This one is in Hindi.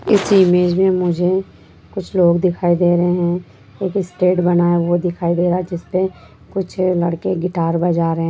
इस ईमेज मे मुझे कुछ लोग दिखाई दे रहे है एक स्टेज बना है वो दिखाई दे रहा है जिसपे कुछ लड़के गिट्टा बजा रहे है।